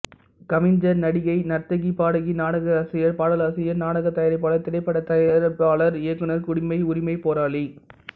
கவிஞர் நடிகை நர்த்தகி பாடகி நாடகாசிரியர் பாடலாசிரியர் நாடகத்தயாரிப்பாளர் திரைப்படத்தயாரிப்பாளர் இயக்குனர் குடிமை உரிமைப் போராளி